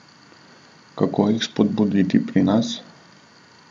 Kako jih spodbuditi pri nas?